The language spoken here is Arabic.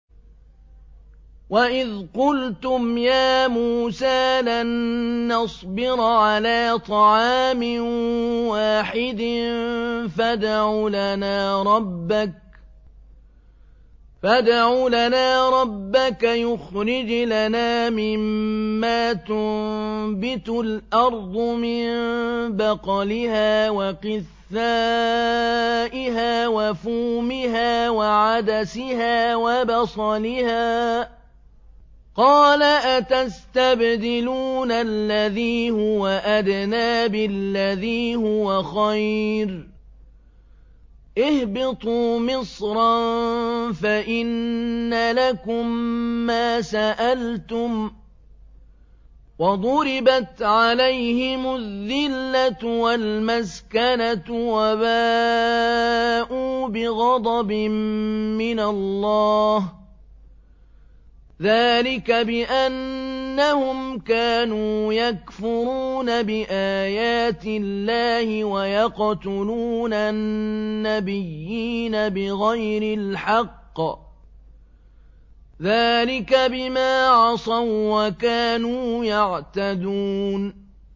وَإِذْ قُلْتُمْ يَا مُوسَىٰ لَن نَّصْبِرَ عَلَىٰ طَعَامٍ وَاحِدٍ فَادْعُ لَنَا رَبَّكَ يُخْرِجْ لَنَا مِمَّا تُنبِتُ الْأَرْضُ مِن بَقْلِهَا وَقِثَّائِهَا وَفُومِهَا وَعَدَسِهَا وَبَصَلِهَا ۖ قَالَ أَتَسْتَبْدِلُونَ الَّذِي هُوَ أَدْنَىٰ بِالَّذِي هُوَ خَيْرٌ ۚ اهْبِطُوا مِصْرًا فَإِنَّ لَكُم مَّا سَأَلْتُمْ ۗ وَضُرِبَتْ عَلَيْهِمُ الذِّلَّةُ وَالْمَسْكَنَةُ وَبَاءُوا بِغَضَبٍ مِّنَ اللَّهِ ۗ ذَٰلِكَ بِأَنَّهُمْ كَانُوا يَكْفُرُونَ بِآيَاتِ اللَّهِ وَيَقْتُلُونَ النَّبِيِّينَ بِغَيْرِ الْحَقِّ ۗ ذَٰلِكَ بِمَا عَصَوا وَّكَانُوا يَعْتَدُونَ